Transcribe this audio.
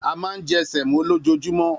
A máa ń jẹ́ sẹ̀mí lójoojúmọ́